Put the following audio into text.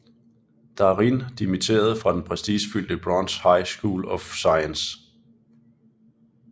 Darin dimitterede fra den prestigefyldte Bronx High School of Science